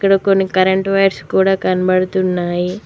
ఇక్కడ కొన్ని current wires కూడా కనబడుతూ ఉన్నవి.